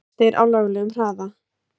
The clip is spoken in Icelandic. Flestir á löglegum hraða